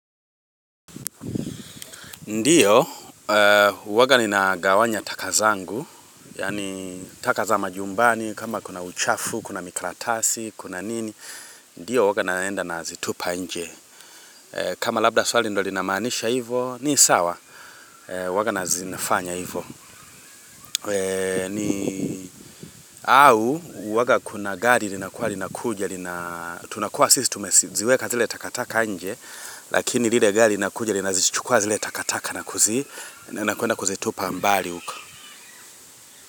Ndiyo, huanga ninagawanya taka zangu, yani taka za majumbani, kama kuna uchafu, kuna mikaratasi, kuna nini, ndiyo huanga naenda nazitupa nje. Kama labda swali ndo linamanisha hivo, ni sawa, huanga nazinafanya hivo. Au, huanga kuna gari linakuwa linakuja, tunakuwa sisi tumeziweka zile takataka nje, Lakini lilegari linakuja lina zichukua zile takataka na kuzi na nakuenda kuzitupa ambali uko.